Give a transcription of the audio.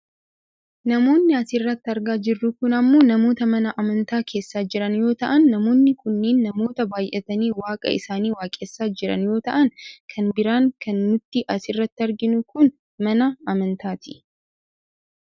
Namoonni asirratti argaa jirru kun ammoo namoota mana amantaa keessa jiran yoo ta'an, namoonni kunneen nanoota baayyatanii waaqa isaanii waaqessaa jirani yoo ta'an , kan biraan kan nuti asirratti arginu kun mana amantaati.